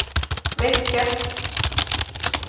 vecka